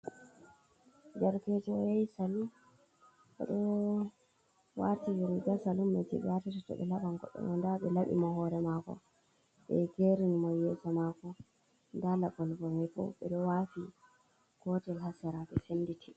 Derkejo yahi salun oɗo warti riga salun me je ɓe watata to ɓe laɓan goɗɗo ɗo, nda ɓe laɓi mo hore mako ɓe gerin mo yesa mako, nda laɓol go me ɓo, ɓe ɗo wafi gotel ha sera ɓe senditi.